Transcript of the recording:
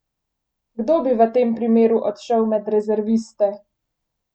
Kdo bi v tem primeru odšel med rezerviste?